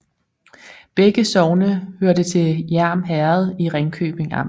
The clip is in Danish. Begge sogne hørte til Hjerm Herred i Ringkøbing Amt